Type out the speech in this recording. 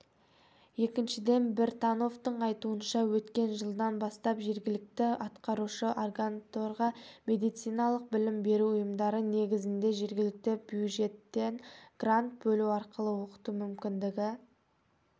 екіншіден біртановтың айтуынша өткен жылдан бастап жергілікті атқарушы органдарға медициналық білім беру ұйымдары негізінде жергілікті бюджеттен грант бөлу арқылы оқыту мүмкіндігі